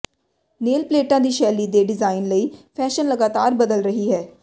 nail ਪਲੇਟਾਂ ਦੀ ਸ਼ੈਲੀ ਦੇ ਡਿਜ਼ਾਇਨ ਲਈ ਫੈਸ਼ਨ ਲਗਾਤਾਰ ਬਦਲ ਰਹੀ ਹੈ